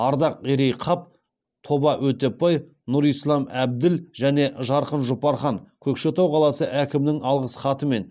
ардақерей қап тоба өтепбай нұрислам әбділ және жарқын жұпархан көкшетау қаласы әкімінің алғыс хатымен